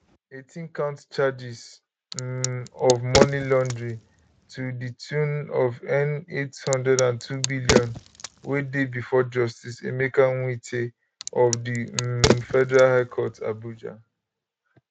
18count charges um of money laundering to di tune of n802billion wey dey bifor justice emeka nwite of di um federal high court abuja